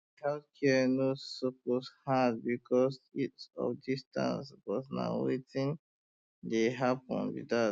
health care no um suppose hard because of distance but na wetin um dey happen be that